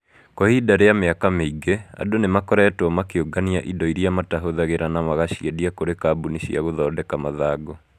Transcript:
Kwa ihinda rĩa mĩaka mĩingĩ, andũ nĩ makoretwo makĩũngania indo iria matehũthagĩra na magaciendia kũrĩ kambuni cia gũthondeka mathangũ.